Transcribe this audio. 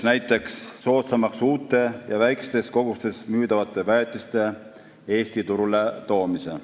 Näiteks muutub soodsamaks uute ja väikestes kogustes müüdavate väetiste Eesti turule toomine.